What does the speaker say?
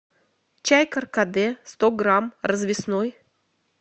чай каркаде сто грамм развесной